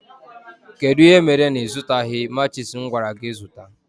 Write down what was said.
Kedụ ihe mere na ịzụtaghi matchis m gwara gị zụta?